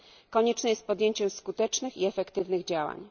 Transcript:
Konieczne jest podjęcie skutecznych i efektywnych działań.